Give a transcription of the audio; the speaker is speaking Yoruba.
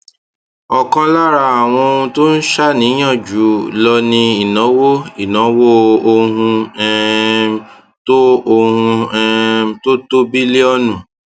ọkan lára àwọn ohun tó ń ṣàníyàn jù lọ ni ìnáwó ìnáwó òhún um tó òhún um tó tó bílíọnù